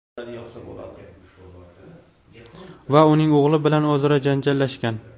va uning o‘g‘li bilan o‘zaro janjallashgan.